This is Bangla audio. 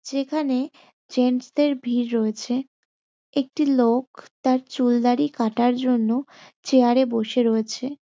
যেখানে জেন্টস -দের ভিড় রয়েছে। একটি লোক তাঁর চুলদাড়ি কাটার জন্য চেয়ার -এ বসে রয়েছে।